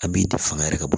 An b'i de fanga yɛrɛ ka bɔ